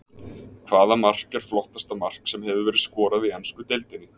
Hvaða mark er flottasta mark sem hefur verið skorað í ensku deildinni?